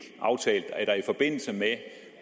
aftalt at der i forbindelse med